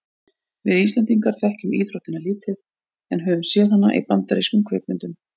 við íslendingar þekkjum íþróttina lítið en höfum séð hana í bandarískum kvikmyndum